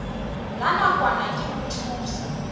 la nakwana ke ho thusa